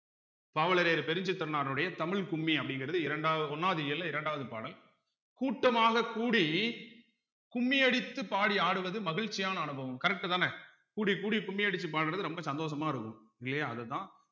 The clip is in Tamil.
பாவலரேறு பெருஞ்சித்திரனாருடைய தமிழ் கும்மி அப்படிங்கிறது இரண்டா ஒண்ணாவது இயல்ல இரண்டாவது பாடல் கூட்டமாகக் கூடி கும்மியடித்துப் படி ஆடுவது மகிழ்ச்சியான அனுபவம் correct தானே கூடி கூடி கும்மி அடிச்சு பாடுறது ரொம்ப சந்தோஷமா இருக்கும் இல்லையா அதுதான்